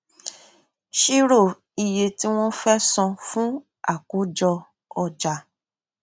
ṣírò iye tí wọn fẹ san fún akójọ ọjà